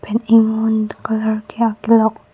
pen inghun colour ke akilok.